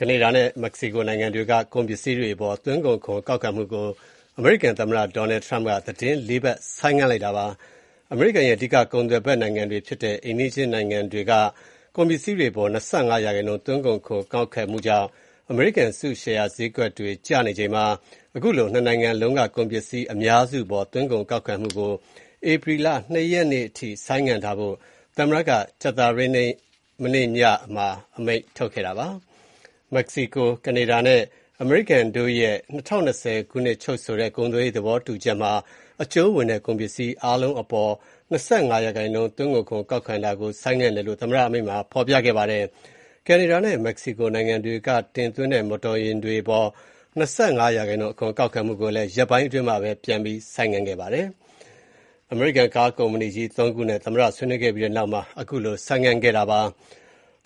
ကနေဒါနဲ့မက္ကဆီကိုနိုင်ငံတွေက ကုန်ပစ္စည်းတွေအပေါ် သွင်းကုန်ခွန်ကောက်ခံမှုကို အမေရိကန်သမ္မတ Donald Trump က သီတင်းလေးပတ် ဆိုင်းငံ့လိုက်ပါတယ်။ အမေရိကန်ရဲ့ အဓိက ကုန်သွယ်ဖက်နိုင်ငံတွေဖြစ်တဲ့ အိမ်နီးချင်းနိုင်ငံတွေက ကုန်ပစ္စည်းတွေအပေါ် ၂၅% သွင်းကုန်ခွန်ကောက်ခံမှုကြောင့် အမေရိကန်အစုရှယ်ယာဈေးတွေကျနေချိန်မှာ ခုလို နှစ်နိုင်ငံ လုံးက ကုန်ပစ္စည်းအများစုအပေါ် သွင်းကုန်ခွန်ကောက်ခံမှုကို ဧပြီလ (၂) ရက်နေ့အထိ ဆိုင်းထားဖို့ သမ္မတက ကြာသပတေးနေ့ ညနေမှာ အမိန့်ထုတ်ခဲ့တာပါ။ မက္ကဆီကို-ကနေဒါနဲ့ အမေရိကန်တို့ရဲ့ ၂၀၂၀ ခုနှစ်ချုပ်ဆိုခဲ့တဲ့ ကုန်သွယ်ရေးသဘောတူချက်မှာ အကျုံးဝင်တဲ့ ကုန်ပစ္စည်းအားလုံးအပေါ် ၂၅% သွင်းကုန်ခွန် ကောက်ခံတာကို ဆိုင်းငံ့တယ်လို့ သမ္မတ အမိန့်မှာ ဖော်ပြခဲ့ပါတယ်။ ကနေဒါနဲ့ မက္ကဆီကိုနိုင်ငံတွေကတင်သွင်းတဲ့ မော်တော်ယာဉ်တွေအပေါ် ၂၅% အခွန်ကောက်ခံမှုကိုလည်း ရက်ပိုင်းအတွင်းမှာပဲ ပြန်ပြီး ဆိုင်းခဲ့ပါတယ်။ အမေရိကန် ကားကုမ္ပဏီကြီးသုံးခုနဲ့ သမ္မတဆွေးနွေးခဲ့ပြီးနောက်မှာ ဆိုင်းငံ့ခဲ့တာဖြစ်ပါတ